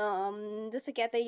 अं जसं की आता